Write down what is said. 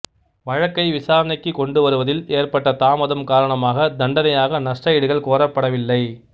வழக்கை விசாரணைக்குக் கொண்டு வருவதில் ஏற்பட்ட தாமதம் காரணமாக தண்டனையாக நஷ்ட ஈடுகள் கோரப்படவில்லை